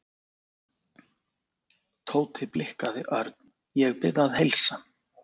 Tóti blikkaði Örn. Ég bið að heilsa